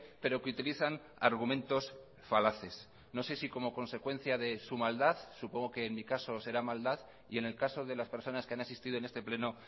pero que utilizan argumentos falaces no sé si como consecuencia de su maldad supongo que en mi caso será maldad y en el caso de las personas que han asistido en este pleno